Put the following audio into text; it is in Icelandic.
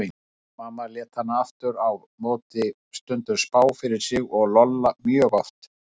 Mamma lét hana aftur á móti stundum spá fyrir sér og Lolla mjög oft.